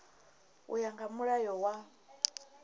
u ya nga mulayo wa